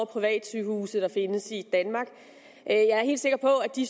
privatsygehuse der findes i danmark og jeg er helt sikker på at de